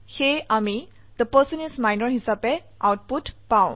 সেয়ে আমি থে পাৰ্চন ইচ মিনৰ হিসাবে আউটপুট পাও